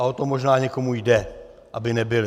A o to možná někomu jde, aby nebyly.